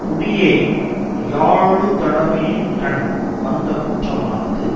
குடியை யாளுதலுடைமையின்கண் வந்த குற்றமானது